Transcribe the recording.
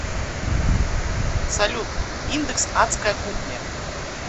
салют индекс адская кухня